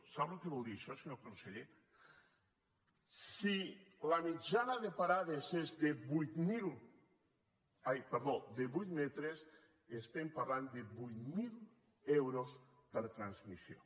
sap el que vol dir això senyor conseller si la mitjana de parades és de vuit metres estem parlant de vuit mil euros per transmissió